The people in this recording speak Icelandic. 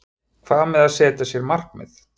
Hvað með að setja sér markmið?